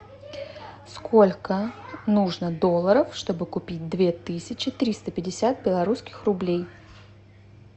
сколько нужно долларов чтобы купить две тысячи триста пятьдесят белорусских рублей